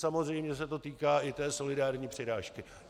Samozřejmě se to týká i té solidární přirážky.